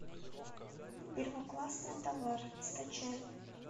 первоклассный товар скачай